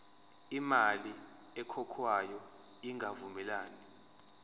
imali ekhokhwayo ingavumelani